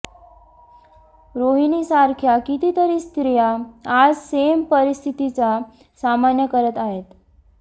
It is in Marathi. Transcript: रोहिणीसारख्या कितीतरी स्त्रिया आज सेम परिस्थितीचा सामना करत आहेत